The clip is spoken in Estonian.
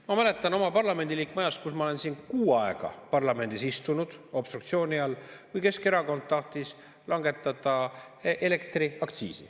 Ma mäletan oma parlamendiliikmeks oleku ajast, kuidas ma siin kuu aega istusin obstruktsiooni all, kui Keskerakond tahtis langetada elektriaktsiisi.